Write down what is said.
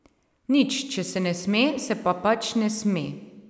Nič, če se ne sme se pa pač ne sme.